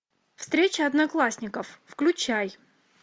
встреча одноклассников включай